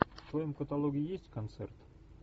в твоем каталоге есть концерт